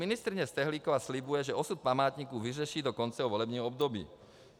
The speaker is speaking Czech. Ministryně Stehlíková slibuje, že osud památníku vyřeší do konce volebního období.